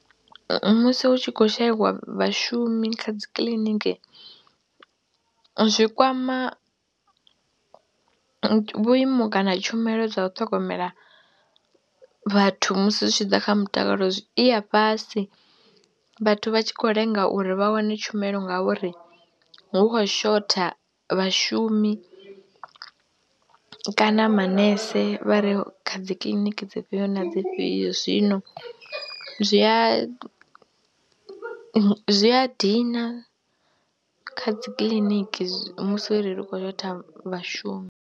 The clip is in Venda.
Musi hu tshi khou shaiwa vhashumi kha dzi kiḽiniki zwi kwama vhuimo kana tshumelo dza u ṱhogomela vhathu musi zwi tshi ḓa kha mutakalo, i ya fhasi vhathu vha tshi khou lenga uri vha wane tshumelo ngauri hu khou shotha vhashumi kana manese vha re kha dzi kiḽiniki dzifhio na dzifhio. Zwino zwi a zwi a dina kha dzi kiḽiniki musi uri ri khou shotha vhashumi.